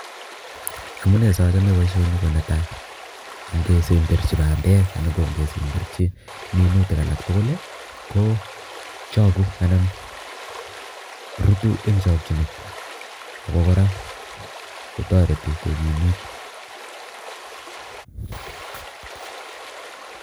Amunee sachome boishoni konetai ngesemberchi bandek anan ngesemberchi minutik alak tugul Kochoku anan rutu eng chokchinet Ako torei kokimot